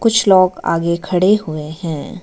कुछ लोग आगे खड़े हुए हैं।